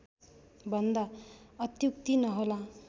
भन्दा अत्युक्ति नहोला